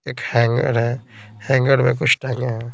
एक हैंगर है हैंगर में कुछ टंगे है।